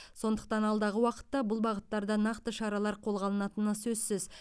сондықтан алдағы уақытта бұл бағыттарда нақты шаралар қолға алынатыны сөзсіз